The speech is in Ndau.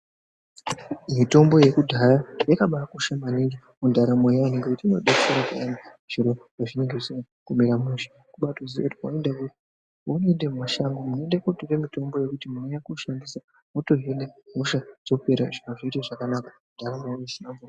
Mitombo yekudhaya yakadetsera maningi ngekuti inodetsera zviro pazvinenge zvisina kumira mushe woda kuziya paunoda kuita mishando wekutika mutombo wekuda kushandisa wotohina hosha zviro zvoita zvakanaka.